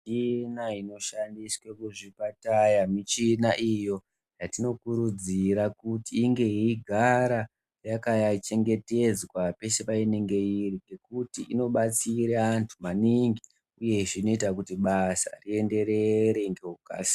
Michina inoshandiswe kuzvipatara michina iyo yatinokurudzira kuti inge iyigara yakachengetezwa pese painenge iri ngekuti inobatsira antu maningi uye zvinoita kuti basa rienderere ngekukasika.